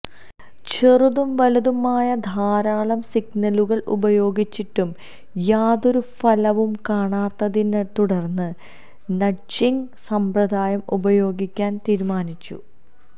ചെറുതും വലുതുമായ ധാരാളം സിഗ്നലുകള് ഉപയോഗിച്ചിട്ടും യാതൊരു ഫലവും കാണാത്തതിനെത്തുടര്ന്ന് നഡ്ജിങ് സമ്പ്രദായം ഉപയോഗിക്കാന് തീരുമാനിച്ചു